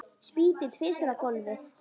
Spýti tvisvar á gólfið.